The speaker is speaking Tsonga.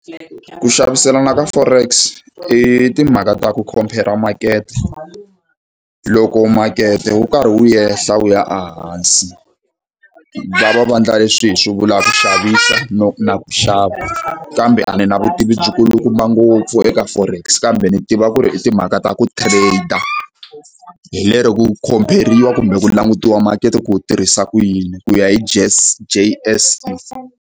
Ku xaviselana ka Forex i timhaka ta ku khompera makete. Loko makete wu karhi wu ehla wu ya ehansi, va va va endla leswi hi swi vulaka ku xavisa no na ku xava, kambe a ni na vutivi byikulukumba ngopfu eka Forex. Kambe ni tiva ku ri i timhaka ta ku trade-a. Hi lero ku khompheriwa kumbe ku langutiwa makete ku wu tirhisa ku yini ku ya hi J_S_E.